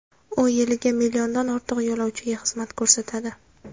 U yiliga milliondan ortiq yo‘lovchiga xizmat ko‘rsatadi.